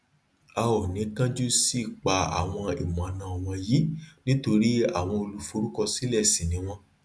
a ò ní kanju si paa awọn imọọnà wọnyí nítorí àwọn olùforúkọsílẹ ṣi ní wọn